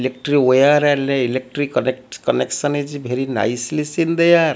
wire electric connects connection is bery nicely seen there.